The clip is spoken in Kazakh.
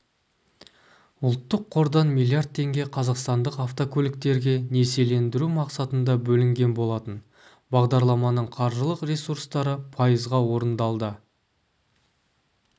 ұлттық қордан миллиард теңге қазақстандық автокөліктерге несиелендіру мақсатында бөлінген болатын бағдарламаның қаржылық ресурстары пайызға орындалда